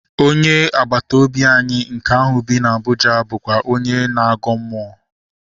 Onye agbata obi anyị nke ahụ bi na Abụja bụkwa onye na-agọ mmụọ